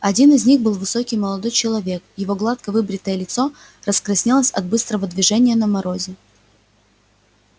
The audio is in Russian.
один из них был высокий молодой человек его гладко выбритое лицо раскраснелось от быстрого движения на морозе